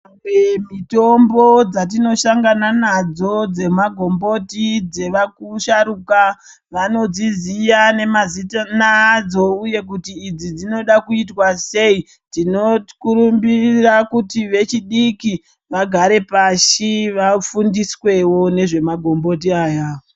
Mitombo dzatinoshangana nadzo dzemagomboti dzevaku sharuka vanodziziya nemazina adzo uye kuti idzi dzinoda kuitwa sei tinookurumbirira kuti vechidiki vagare pashi vafundiswewo nezve magomboti aya.